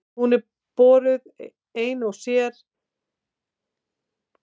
Hún er borðuð ein og sér, sem meðlæti eða sem álegg á brauð.